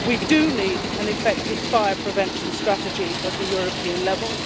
We do need an effective fire prevention strategy at European level.